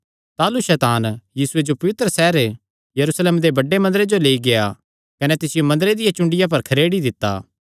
ताह़लू सैतान यीशुये जो पवित्र सैहर यरूशलेमे दे बड्डे मंदरे जो लेई गेआ कने तिसियो मंदरे दिया चुंडिया पर खरेड़ी दित्ता